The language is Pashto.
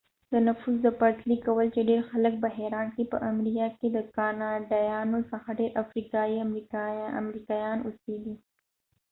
د نفوس د پرتلې کول چې ډیر خلک به حیران کړي په امریا کې د کاناډایانو څخه ډیر افریقایي امریکایان اوسېږي